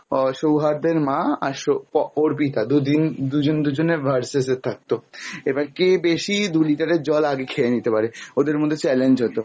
আহ সৌহার্দের মা, আর সো অর্পিতা দুদিন দুজন দুজনের VS এ থাকতো, এবার কে বেশি দু লিটারের জল আগে খেয়ে নিতে পারে ওদের মধ্যে challenge হতো